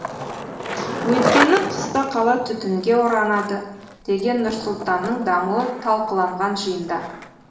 өйткені қыста қала түтінге оранады деген нұр сұлтанның дамуы талқыланған жиында